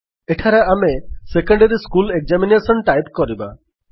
ଏଠାରେ ଆମେ secondary school examination type କରିବା